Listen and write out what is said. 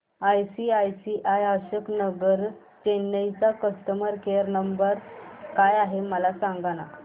ICICI Ashok Nagar Chennai चा customer care number काय आहे मला सांगाना